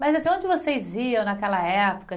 Mas assim, onde vocês iam naquela época?